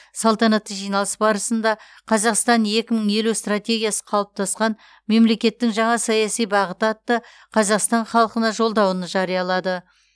салтанатты жиналыс барысында қазақстан екі мың елу стратегиясы қалыптасқан мемлекеттің жаңа саяси бағыты атты қазақстан халқына жолдауын жариялады